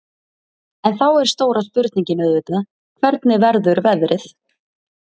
En þá er stóra spurningin auðvitað, hvernig verður veðrið?